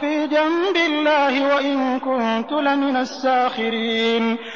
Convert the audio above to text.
فِي جَنبِ اللَّهِ وَإِن كُنتُ لَمِنَ السَّاخِرِينَ